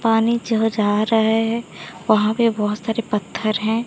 पानी जहाँ जह रहा है वहां पे बहुत सारे पत्थर हैं।